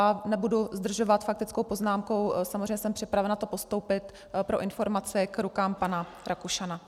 A nebudu zdržovat faktickou poznámkou, samozřejmě jsem připravena to postoupit pro informaci k rukám pana Rakušana.